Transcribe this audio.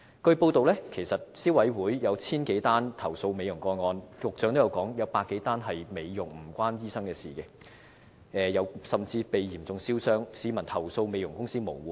據報道，消委會接獲1000多宗有關美容的投訴，局長說有100多宗涉及美容個案，與醫生無關，有些個案的受害人甚至被嚴重燒傷，市民投訴美容公司無門。